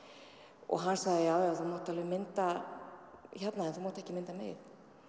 og hann sagði já já þú mátt alveg mynda hérna en þú mátt ekki mynda mig